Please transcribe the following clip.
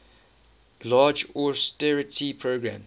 large austerity program